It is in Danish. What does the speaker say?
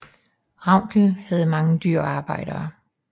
Ravnkel havde mange dyr og arbejdere